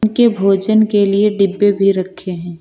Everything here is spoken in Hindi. के भोजन के लिए डिब्बे भी रखे हैं।